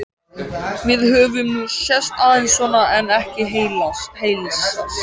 Við höfum nú sést aðeins svona en ekki heilsast.